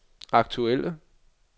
aktuelle